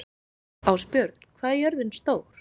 Ásbjörn, hvað er jörðin stór?